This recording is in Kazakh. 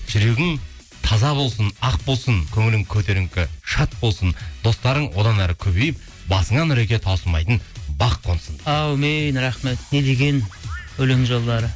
жүрегің таза болсын ақ болсын көңілің көтеріңкі шат болсын достарың одан әрі көбейіп басыңа нұреке таусылмайтын бақ қонсын дейді әумин рахмет не деген өлең жолдары